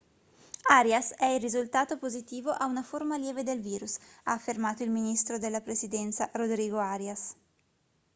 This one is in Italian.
arias è risultato positivo a una forma lieve del virus ha affermato il ministro della presidenza rodrigo arias